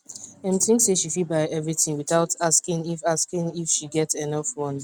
dem think say she fit buy everything without asking if asking if she get enough money